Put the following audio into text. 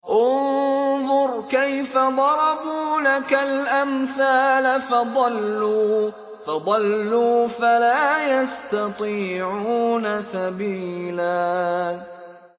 انظُرْ كَيْفَ ضَرَبُوا لَكَ الْأَمْثَالَ فَضَلُّوا فَلَا يَسْتَطِيعُونَ سَبِيلًا